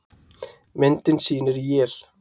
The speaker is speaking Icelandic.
Myndin sýnir él.